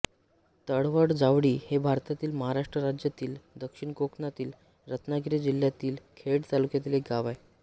तळवट जावळी हे भारतातील महाराष्ट्र राज्यातील दक्षिण कोकणातील रत्नागिरी जिल्ह्यातील खेड तालुक्यातील एक गाव आहे